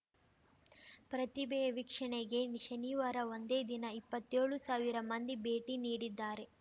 ಪ್ರತಿಬೆ ವೀಕ್ಷಣೆಗೆ ಶನಿವಾರ ಒಂದೇ ದಿನ ಇಪ್ಪತ್ತ್ಯೋಳು ಸಾವಿರ ಮಂದಿ ಭೇಟಿ ನೀಡಿದ್ದಾರೆ